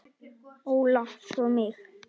Óla og svo mig.